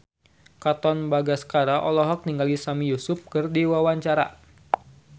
Katon Bagaskara olohok ningali Sami Yusuf keur diwawancara